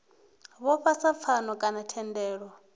vhofha sa pfano kana thendelano